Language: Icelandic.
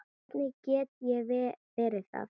Hvernig get ég verið það?